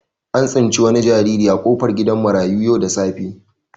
An tsinci wani jinjiri a kofar gidan marayu yau da safe.